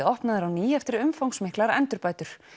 opnaður á ný eftir umfangsmiklar endurbætur